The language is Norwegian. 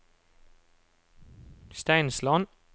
Steinsland